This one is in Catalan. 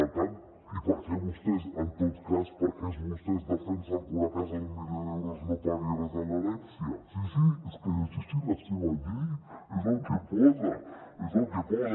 per tant i per què vostès en tot cas per què vostès defensen una casa d’un milió d’euros no pagui res en l’herència sí sí és que és així la seva llei és el que hi posa es el que hi posa